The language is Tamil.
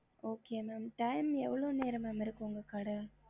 ஹம்